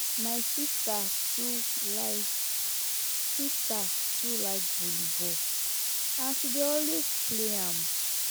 my sister too like sister too like volleyball and she dey also play am